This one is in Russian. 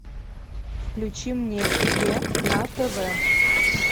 включи мне е на тв